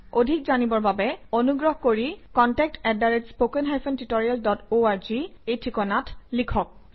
অধিক জানিবৰ বাবে অনুগ্ৰহ কৰি contact at spoken hyphen tutorial dot org - এই ঠিকনাত লিখক